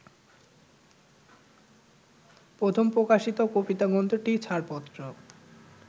প্রথম প্রকাশিত কবিতাগ্রন্থটি ছাড়পত্র